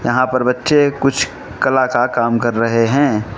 यहां पर बच्चे कुछ कला का काम कर रहे हैं।